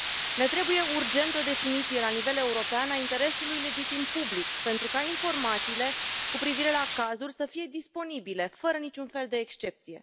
Ne trebuie urgent o definiție la nivel european a interesului legitim public pentru ca informațiile cu privire la cazuri să fie disponibile fără nici un fel de excepție.